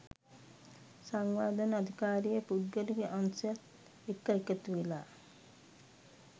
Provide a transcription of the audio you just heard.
සංවර්ධන අධිකාරිය පුද්ගලික අංශයත් එක්ක එකතුවෙලා